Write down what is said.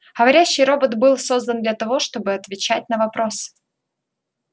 говорящий робот был создан для того чтобы отвечать на вопросы